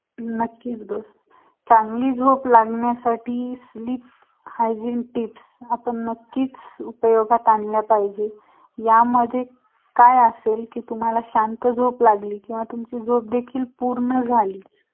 colour आपला आहे ना same तसा